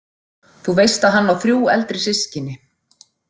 Þú veist að hann á þrjú eldri systkini.